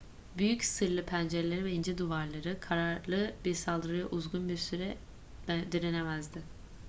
büyük sırlı pencereleri ve ince duvarları kararlı bir saldırıya uzun bir süre direnemezdi